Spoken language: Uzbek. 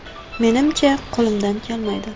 Menimcha, qo‘limdan kelmaydi.